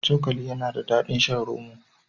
Cokali yana da daɗin shan roma.